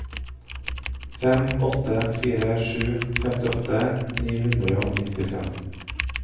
fem åtte fire sju femtiåtte ni hundre og nittifem